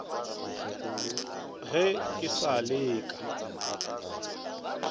ge ke sa le ka